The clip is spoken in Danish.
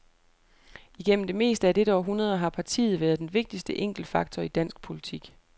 Igennem det meste af dette århundrede har partiet været den vigtigste enkeltfaktor i dansk politik.